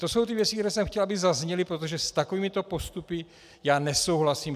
To jsou ty věci, které jsem chtěl, aby zazněly, protože s takovýmito postupy já nesouhlasím.